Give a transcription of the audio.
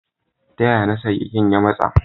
Taya ya na sa keken ya matsa.